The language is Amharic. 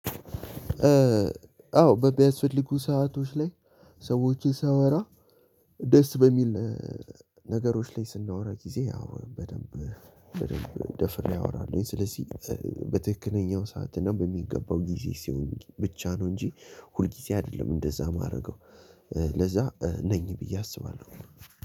አዎ በሚያስፈልጉ ሰአቶች ላይ ሰዎችን ሳወራ ደስ በሚል ነገሮች ላይ ስናወራ ጊዜ አዎ በደንብ በደንብ ደፍሬ አወራለሁኝ ስለዚህ በትክክለኛው ሰዓት እና በሚገባው ጊዜ ሲሆን ብቻ ነው እንጂ ሁልጊዜ አይደለም እንደዛ ማረገው ለዛ ነኝ ብዬ አስባለሁ።